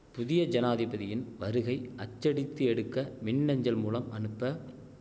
புதிய ஜனாதிபதியின் வருகை அச்சடித்து எடுக்க மின் அஞ்சல் மூலம் அனுப்ப